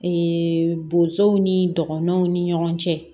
bozow ni dɔgɔnɔnw ni ɲɔgɔn cɛ